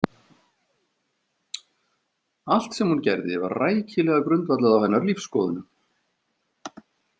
Allt sem hún gerði var rækilega grundvallað á hennar lífsskoðunum.